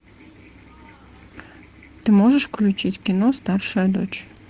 ты можешь включить кино старшая дочь